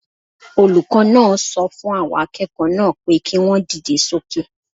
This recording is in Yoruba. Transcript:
Olùkọ́ náà sọ fún àwọn akẹ́kọ̀ọ́ náà pé kí wọ́n dìde sókè